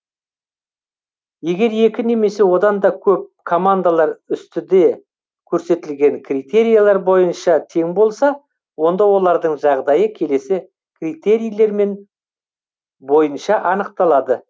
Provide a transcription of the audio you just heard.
егер екі немесе одан да көп командалар үстіде көрсетілген критерилер бойынша тең болса онда олардың жағдайы келесі критерилермен бойынша анықталады